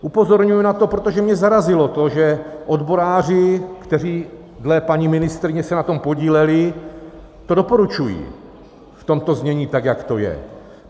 Upozorňuji na to, protože mě zarazilo to, že odboráři, kteří dle paní ministryně se na tom podíleli, to doporučují v tomto znění, tak jak to je.